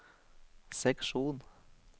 seksjon